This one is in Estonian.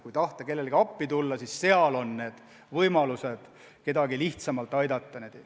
Kui tahta kellelegi appi tulla, siis selles peituvad võimalused kedagi lihtsamalt aidata.